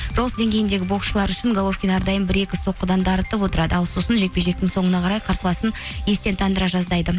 ролс деңгейіндегі боксшылар үшін головкин әрдайым бір екі соққыдан дарытып отырады ал сосын жекпе жектің соңына қарай қарсыласын естен тандыра жаздайды